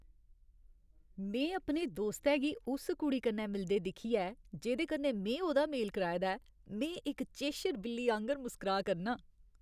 में अपने दोस्तै गी उस कुड़ी कन्नै मिलदे दिक्खियै जेह्दे कन्नै में उ'दा मेल कराए दा ऐ, में इक चेशर बिल्ली आंह्गर मुस्कराऽ करनां।